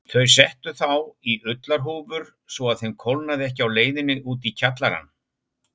Þau settu þá í ullarhúfur svo að þeim kólnaði ekki á leiðinni út í kjallarann.